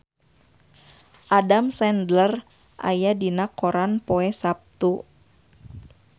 Adam Sandler aya dina koran poe Saptu